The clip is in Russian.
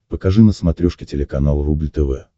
покажи на смотрешке телеканал рубль тв